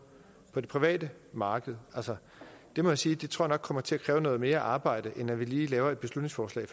det private marked altså det må jeg sige tror kommer til at kræve noget mere arbejde end at vi lige laver et beslutningsforslag i